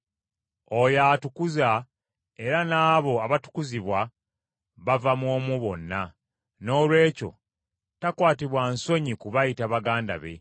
Oyo atukuza era n’abo abatukuzibwa bava mu omu bonna. Noolwekyo takwatibwa nsonyi kubayita baganda be.